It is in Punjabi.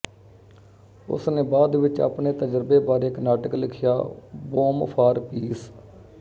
ਉਸਨੇ ਬਾਅਦ ਵਿੱਚ ਆਪਣੇ ਤਜ਼ਰਬੇ ਬਾਰੇ ਇੱਕ ਨਾਟਕ ਲਿਖਿਆ ਬੌਮ ਫਾਰ ਪੀਸ